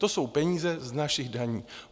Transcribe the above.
To jsou peníze z našich daní.